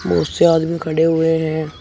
बहुत से आदमी खड़े हुए है।